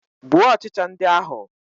Gbuo ọchịcha ndị ahụ.